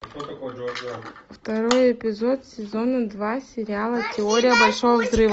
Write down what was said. второй эпизод сезона два сериала теория большого взрыва